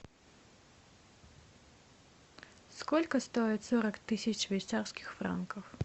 сколько стоит сорок тысяч швейцарских франков